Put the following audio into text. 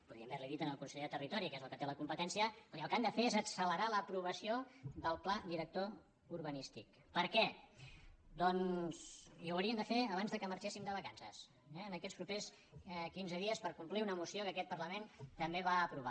po·díem haver·li·ho dit al conseller de territori que és el que té la competència escolti el que han de fer és accelerar l’aprovació del pla director urbanístic i ho haurien de fer abans que marxéssim de vacances eh en aquests propers quinze dies per complir una mo·ció que aquest parlament també va aprovar